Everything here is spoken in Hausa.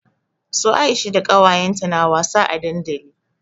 Su Aisha da kawayenta na wasa a dandali.